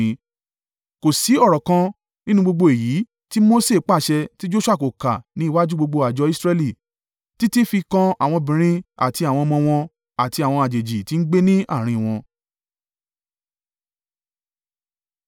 Kò sí ọ̀rọ̀ kan nínú gbogbo èyí tí Mose pàṣẹ tí Joṣua kò kà ní iwájú gbogbo àjọ Israẹli, títí fi kan àwọn obìnrin àti àwọn ọmọ wọn, àti àwọn àjèjì tí ń gbé ní àárín wọn.